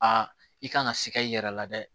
A i kan ka sikɛri i yɛrɛ la dɛ